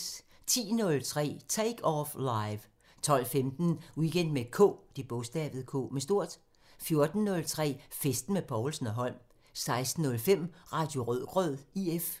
10:03: Take Off Live 12:15: Weekend med K 14:03: Festen med Povlsen & Holm 16:05: Radio Rødgrød IF